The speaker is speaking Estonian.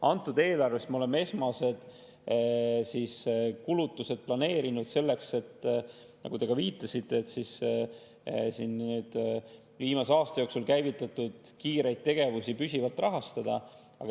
Antud eelarves me oleme esmased kulutused planeerinud selleks, nagu te ka viitasite, et viimase aasta jooksul käivitatud kiireid tegevusi püsivalt rahastada.